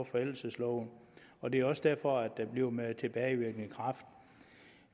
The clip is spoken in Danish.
forældelsesloven og det er også derfor det bliver med tilbagevirkende kraft